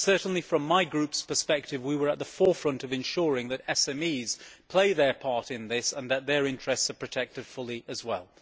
Certainly, from my Group's perspective, we were at the forefront of ensuring that SMEs play their part in this and that their interests are protected fully as well.